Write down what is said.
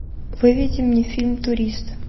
выведи мне фильм турист